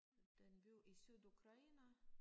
Det en by i Sydukraine